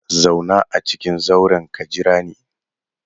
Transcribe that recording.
Zauna a cikin zauren ka jira ni!